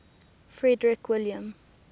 frederick william